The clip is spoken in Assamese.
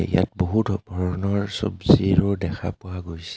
ইয়াত বহুত ভৰনৰ চবজিৰো দেখা পোৱা গৈছে.